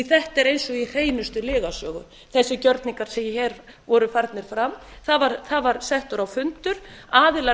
þetta er eins og í hreinustu lygasögu þessir gjörningar sem hér voru farnir fram það var settur á fundur aðilar